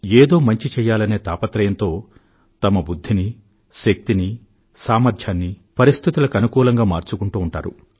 ఏదో మంచి చెయ్యాలనే తాపత్రయంతో తమ బుధ్ధిని శక్తిని సామర్ధ్యాన్ని పరిస్థితులకు అనుకూలంగా మార్చుకుంటూ ఉంటారు